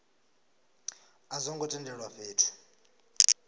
a zwo ngo tendelwa fhethu